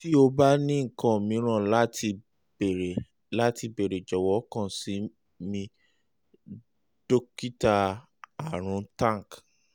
ti o ba ni nkan miiran lati beere lati beere jọwọ kan si mi dokita arun tank